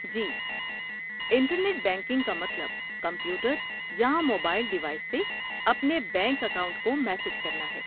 جی، internet banking کا مطلب computer یا موبائل ڈیوائس سے اپنے بینک اکاؤنٹ کو مینیج کرنا ہے۔